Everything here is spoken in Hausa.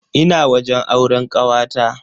Ina wajen auren kawata.